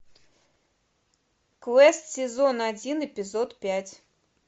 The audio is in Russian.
квест сезон один эпизод пять